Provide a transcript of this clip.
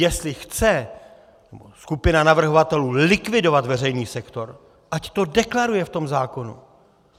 Jestli chce skupina navrhovatelů likvidovat veřejný sektor, ať to deklaruje v tom zákoně.